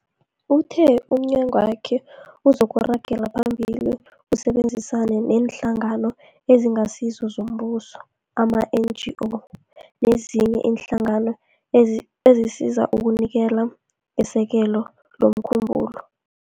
Uthe umnyagwakhe uzoragela phambili usebenzisane neeNhlangano eziNgasizo zoMbuso, ama-NGO, nezinye iinhlangano ezisizako ukunikela ngesekelo lomkhumbulo